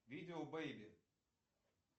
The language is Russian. видео бейби